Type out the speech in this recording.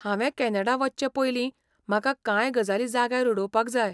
हांवें कॅनडा वचचे पयलीं म्हाका कांय गजाली जाग्यार उडोवपाक जाय.